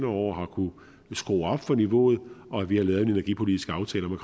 år har kunnet skrue op for niveauet og at vi har lavet en energipolitisk aftale